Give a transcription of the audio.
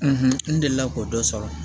n delila k'o dɔ sɔrɔ